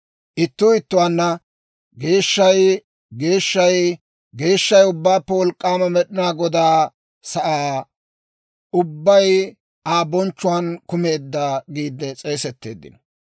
Ittuu ittuwaanna, «Geeshshay, geeshshay, geeshshay Ubbaappe Wolk'k'aama Med'inaa Godaa! Sa'aa ubbay Aa bonchchuwaan kumeedda» yaagiide s'eesetteeddino.